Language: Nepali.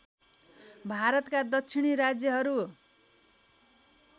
भारतका दक्षिणी राज्यहरू